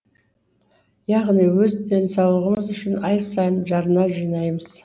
яғни өз денсаулығымыз үшін ай сайын жарна жинаймыз